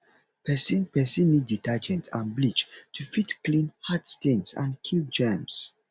person person need detergent and bleach to fit clean hard stains and kill germs